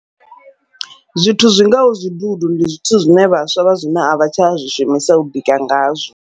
Zwithu zwi ngaho zwidudu, ndi zwithu zwine vhaswa vha zwino avha tsha zwi shumisa u bika ngazwo.